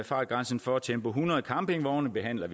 fartgrænsen for tempo hundrede campingvogne behandles